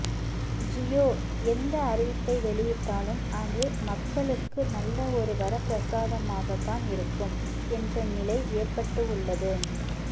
ஜியோ எந்த அறிவிப்பை வெளியிட்டாலும் அது மக்களுக்கு நல்ல ஒரு வரப்பிரசாதமாக தான் இருக்கும் என்ற நிலை ஏற்பட்டு உள்ளது